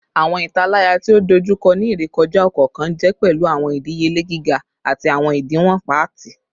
Awọn italaya ti o dojukọ ni irekọja ọkọọkan jẹ pẹlu awọn idiyele giga ati awọn idiwọn paati